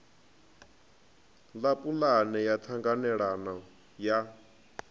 ḽa pulane ya ṱhanganelano ya